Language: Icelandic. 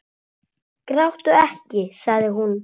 Gráttu ekki, sagði hún.